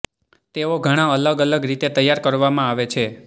તેઓ ઘણા અલગ અલગ રીતે તૈયાર કરવામાં આવે છે